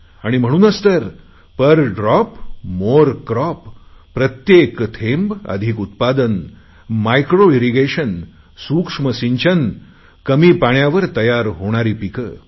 आणि म्हणूनच per drop more crop प्रत्येक थेंब अधिक उत्पादन मायक्रो इरिगेशन सूक्ष्म सिंचन कमी पाण्यावर तयार होणारी पिके